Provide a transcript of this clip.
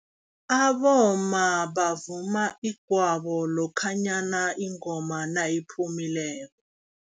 Abomma bavuma igwabo, lokhanyana ingoma nayiphumileko.